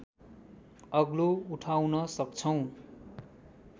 अग्लो उठाउन सक्छौँ